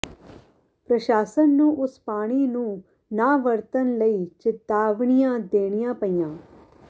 ਪ੍ਰਸ਼ਾਸਨ ਨੂੰ ਉਸ ਪਾਣੀ ਨੂੰ ਨਾ ਵਰਤਣ ਲਈ ਚਿਤਾਵਨੀਆਂ ਦੇਣੀਆਂ ਪਈਆਂ